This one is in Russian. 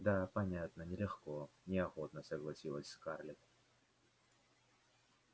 да понятно нелегко неохотно согласилась скарлетт